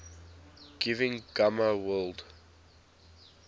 giving gamma world